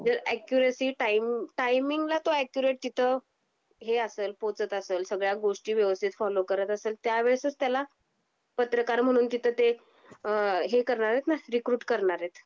जर accuracy time timing ला तो अॅक्युरेट तिथं हे असेलल, पोचत ,सगळ्या गोष्टी व्यवस्थित फॉलो करत असेल, त्यावेळीस त्याला पत्रकार म्हणून तिथे हे करणार आहेत ना रिक्रूट करणार आहेत